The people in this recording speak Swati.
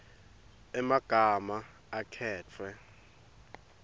emagama akhetfwe